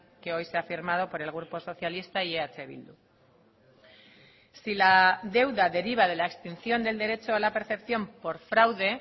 que hoy se ha firmado por el grupo socialista y eh bildu si la deuda deriva de la extinción del derecho a la percepción por fraude